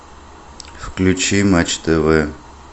включи матч тв